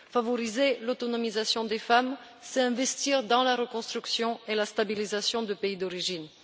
Favoriser l'autonomisation des femmes, c'est investir dans la reconstruction et la stabilisation du pays d'origine.